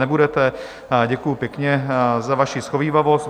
Nebudete, děkuju pěkně za vaši shovívavost.